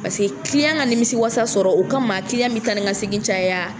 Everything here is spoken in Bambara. Paseke ka nimisi wasa sɔrɔ u ka ma bɛ taa ni ka segin caya.